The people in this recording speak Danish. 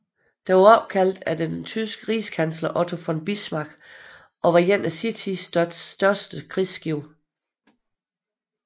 Det var opkaldt efter den tyske rigskansler Otto von Bismarck og var et af sin tids største krigsskibe